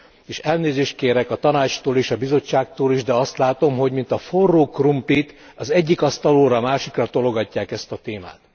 És elnézést kérek a Tanácstól és a Bizottságtól is, de azt látom, hogy mint a forró krumplit, az egyik asztalról a másikra tologatják ezt a témát.